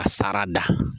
A sara da